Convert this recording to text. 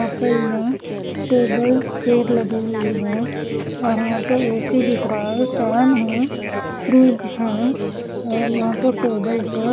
Hotel में table chair लगी हुई है और यहां पे ए_सी दिख रहा है फैन है फ्रिज है और यहां पर टेबल है।